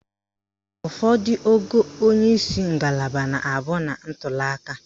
Ụfọdụ ogo onyeisi ngalaba na-abụ na ntuliaka.